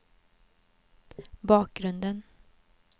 bakgrunden